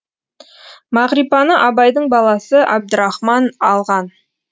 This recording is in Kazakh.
мағрипаны абайдың баласы әбдірахман алған